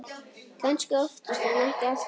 Kannski oftast en ekki alltaf.